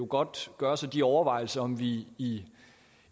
godt gøre sig de overvejelser om vi i